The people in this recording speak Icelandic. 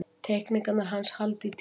Teikningarnar hans halda í tímann.